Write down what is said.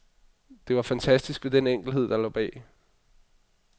Det var fantastisk ved den enkelhed, der lå bag.